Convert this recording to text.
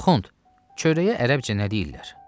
Axund, çörəyə ərəbcə nə deyirlər?